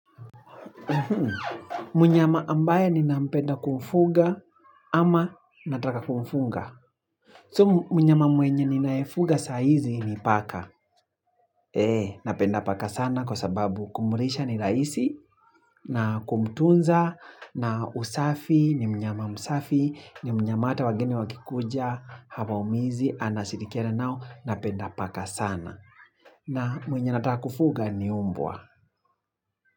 Mnyama ambaye ninampenda kumfuga ama nataka kumfuga. Sio mnyama mwenye ninayefuga sahizi ni paka Napenda paka sana kwa sababu kumlisha ni rahisi na kumtunza na usafi ni mnyama msafi ni mnyama hata wageni wakikuja, Hawaumizi anashirikiana nao, napenda paka sana na mwenye nataka kufuga ni umbwa.